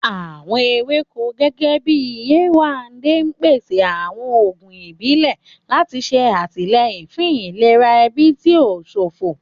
Àwọn ewéko, gẹ́gẹ́ bíi Yewande, ń pèsè àwọn oògùn ìbílẹ̀ láti ṣe àtìlẹ́yìn fún ìlera ẹbí tí ó ń ṣọ̀fọ̀.